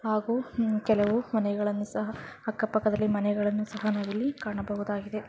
ಹಾಗೂ ಮ್- ಕೆಲವು ಮನೆಗಳನ್ನು ಸಹಾ ಅಕ್ಕ ಪಕ್ಕಾದಲ್ಲಿ ಮನೆಗಳನ್ನು ಸಹ ನಾವಿಲ್ಲಿ ಕಾಣಬಹುದಾಗಿದೆ.